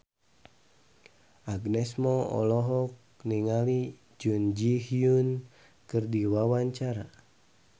Agnes Mo olohok ningali Jun Ji Hyun keur diwawancara